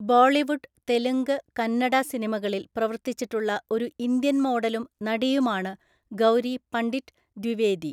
ബോളിവുഡ്, തെലുങ്ക്, കന്നഡ സിനിമകളിൽ പ്രവർത്തിച്ചിട്ടുള്ള ഒരു ഇന്ത്യൻ മോഡലും നടിയുമാണ് ഗൗരി പണ്ഡിറ്റ് ദ്വിവേദി.